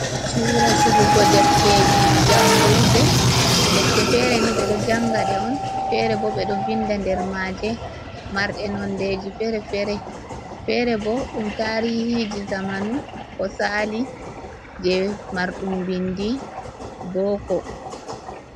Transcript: Chuura sigugo defteji jangurde, defte fere ni ɓe ɗo janga ɗe on, fere bo ɓe ɗo vinda nder maaje, marɗe nondeji fere - fere, feere bo ɗum tarihiji zamanu ko sali jei marɗum bindi booko.